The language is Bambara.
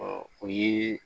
o ye